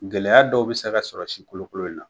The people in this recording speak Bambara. Gɛlɛya dɔw be se ka sɔrɔ si kolokolo in na.